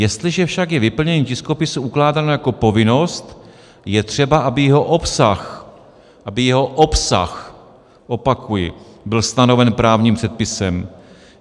Jestliže však je vyplnění tiskopisu ukládáno jako povinnost, je třeba, aby jeho obsah" - aby jeho obsah, opakuji - "byl stanoven právním předpisem.